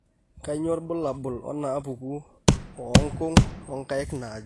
Kainyio irbulabul onaapuku oonkung' oonkaik naaju?